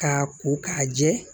K'a ko k'a jɛ